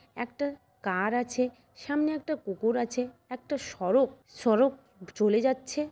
একটা কার আছে। সামনে একটা পুকুর আছে। একটা সড়ক সড়ক চলে যাচ্ছে।